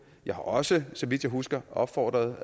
jeg har også så vidt jeg husker opfordret